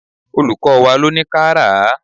Olùkọ́ wá ló ní ká rà á.